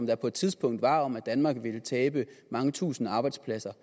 der på et tidspunkt var om at danmark ville tabe mange tusinde arbejdspladser